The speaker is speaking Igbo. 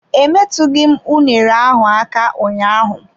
Emetughi m unere ahụ aka ụnyaahụ.